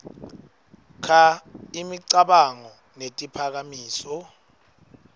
kha imicabango netiphakamiso